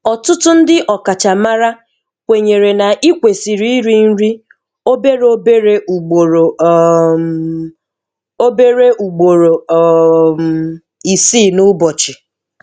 Ọ̀tụ́tụ́ ndị́ ọ̀kàchàmárá kwênyèrè nà Í kwèsìrì íri nri óbéré óbéré ùgbòrò um óbéré ùgbòrò um ìsíì n'ụ́bọ̀chị̀